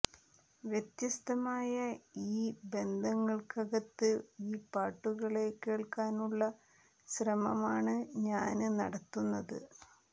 വ്യത്യസ്തമായ ഈ ബന്ധങ്ങള്ക്കകത്ത് ഈ പാട്ടുകളെ കേള്ക്കാനുള്ള ശ്രമമാണ് ഞാന് നടത്തുന്നത്